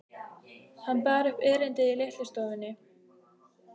Hann bar upp erindið í litlu stofunni.